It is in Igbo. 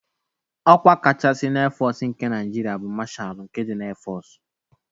Ọkwa kachasị na Éfọọsụ nke Naịjirịa bụ Mashalu nke ndị Éfọọsụ.